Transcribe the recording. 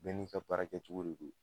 Bɛɛ ni ka baarakɛ cogo de don